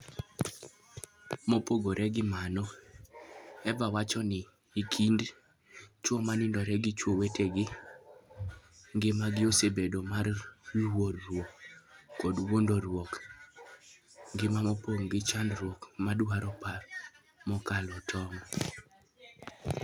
Mopogore gi mano, Eva wacho ni, e kind chwo ma nindore gi chwo wetegi, ngimagi osebedo mar luoro koda wuondruok; ngima mopong ' gi chandruok madwaro paro mokalo tong '.